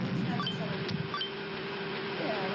Quantos netos a senhora teve?